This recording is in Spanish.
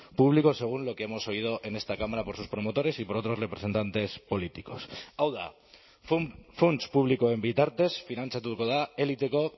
público según lo que hemos oído en esta cámara por sus promotores y por otros representantes políticos hau da funts publikoen bitartez finantzatuko da eliteko